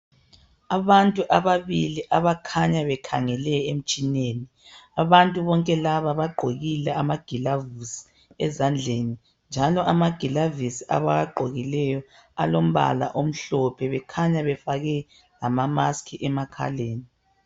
Abantu ababili abakhanya bekhangele emtshineni. Abantu bonke laba bagqokile amagilavisi ezandleni njalo amagilavisi lawa abawagqokileyo alombala omhlophe bekhanya befake lama "mask" emakhaleni.